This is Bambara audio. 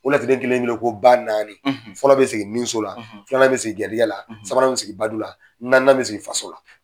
O laturuden kelen ko ba naani, fɔlɔ bɛ sigi nin so la, filanan bɛ sigi gɛrijɛgɛ la, sabanan bɛ sigi badu la, naaninan bɛ sigi faso la.